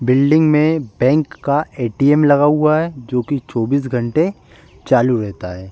Building में bank का ATM. लगा हुआ है जो कि चौबीस घंटे चालू रहता है।